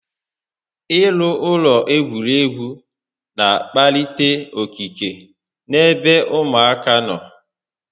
I rụ ụlọ egwuregwu n'akpalite okike n'ebe ụmụaka nọ